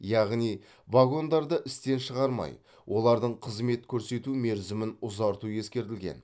яғни вагондарды істен шығармай олардың қызмет көрсету мерзімін ұзарту ескерілген